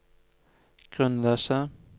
grunnløse